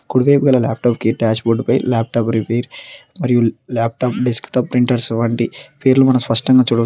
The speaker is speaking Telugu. కుడి వైపు గల ల్యాప్టాప్ కి డాష్బోర్డ్ పై ల్యాప్టాప్ రిపేర్ మరియు ల్యాప్టాప్ డెస్క్ టాప్ ప్రింటర్స్ వంటి పేర్లు మనం స్పష్టంగా చూడవ --